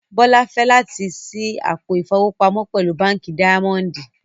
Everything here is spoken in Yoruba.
Bọlá fẹ̀ lati ṣí àpò ifowopamọ pẹ̀lú Bánkì Daimondì.